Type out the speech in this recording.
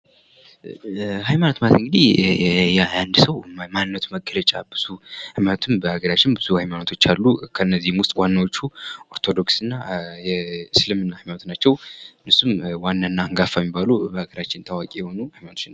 ሃይማኖት ማለት እንግዲህ የአንድ ሰው ማንነቱ መገለጫ ነው በሀገራችን ብዙ ሃይማኖቶች አሉ ከነዚህ ውስጥ ዋናዎቹ ኦርቶዶክስ እና የእስልምና ሃይማኖት ናቸው እነሱም ዋናና አንጋፋ የሚባሉ በሀገራችን ታዋቂ የሆኑ ሃይማኖቶች ናቸው።